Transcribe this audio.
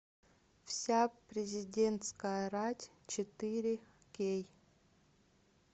вся президентская рать четыре кей